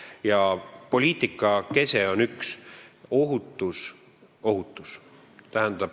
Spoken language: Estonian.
Ja poliitika kese on üks: ohutus.